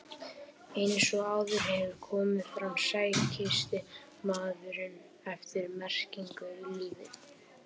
Eins og áður hefur komið fram sækist maðurinn eftir merkingu í lífið.